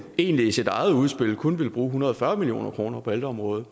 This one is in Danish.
egentlig i sit eget udspil kun ville bruge en hundrede og fyrre million kroner på ældreområdet